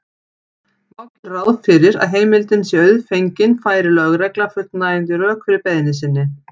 Má gera ráð fyrir að heimildin sé auðfengin færi lögregla fullnægjandi rök fyrir beiðni sinni.